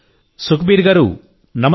సుఖ్బీర్ గారూ నమస్తే